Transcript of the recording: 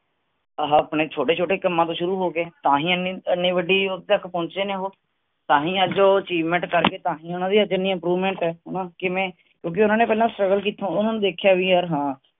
ਆਹਾ ਆਪਣੇ ਛੋਟੇ-ਛੋਟੇ ਕੰਮਾਂ ਤੋਂ ਸ਼ੁਰੂ ਹੋਕੇ ਤਾਂ ਹੀ ਇਹਨੀ ਵੱਡੀ ਤਕ ਪਹੁੰਚੇ ਨੇ ਉਹ ਤਾਂਹੀ ਅੱਜ ਉਹ achievement ਕਰਕੇ, ਤਾਂਹੀ ਉਨ੍ਹਾਂਦੀ ਅੱਜ ਇੰਨੀ improvement ਹੈ ਹਣਾ ਕਿਵੇਂ ਕਿਓਂਕਿ ਉਨ੍ਹਾਂਨੇ ਪਹਿਲਾਂ struggle ਕੀਤਾ ਉਹਨਾਂ ਨੇ ਦੇਖਿਆ ਵੀ ਯਾਰ ਹਾਂ